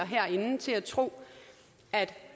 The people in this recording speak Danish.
herinde til at tro at